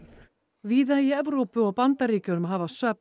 víða í Evrópu og Bandaríkjunum hafa söfn